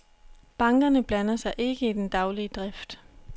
Bankerne blander sig ikke i den daglige drift.